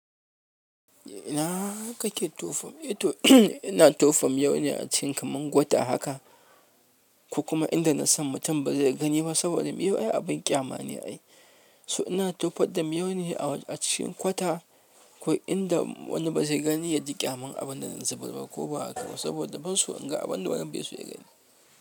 Ina kake tofa? Ito ina tofa miyau ne a cikin kamar kwata haka. Ku kuma inda na san mutum ba zai gani ba saboda miyau abin ƙyama ne ai. So ina tofa da miyau ne a cikin kwata, ko inda wani ba zai gani ya ji ƙyamar abin da na zubar ko ba haka ba saboda basu inga abin da wani bai suyi gani.